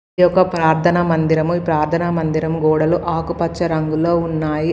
ఇది ఒక్క ప్రార్థన మందిరము ఈ ప్రార్థనా మందిరం గోడలు ఆకుపచ్చ రంగులో ఉన్నాయి.